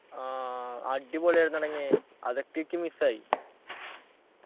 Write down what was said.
ആഹ് അടിപൊളിയായിരുന്നെടങ്ങേ അതൊക്കെ ഇക്ക് miss ആയി